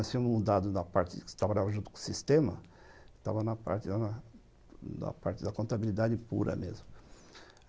Nós tínhamos mudado da parte que trabalhava junto com o sistema, que estava na parte da contabilidade pura mesmo.